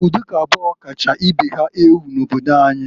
Ụdị ụka abụọ kacha ibe ha ewu n'obodo anyị.